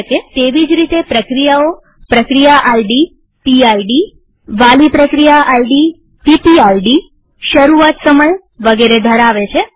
તેવી જ રીતે પ્રક્રિયાઓપ્રક્રિયા આઈડીવાલી પ્રક્રિયા આઈડીશરૂઆત સમયવગેરે ધરાવે છે